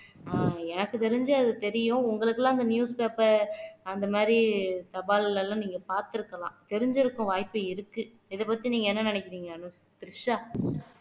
ஆஹ் எனக்கு தெரிஞ்சு அது தெரியும் உங்களுக்கெல்லாம் அந்த news paper அந்த மாதிரி தபால் எல்லாம் நீங்க பார்த்திருக்கலாம் தெரிஞ்சிருக்கும் வாய்ப்பு இருக்கு இத பத்தி நீங்க என்ன நினைக்கிறீங்க அனுஷ் த்ரிஷா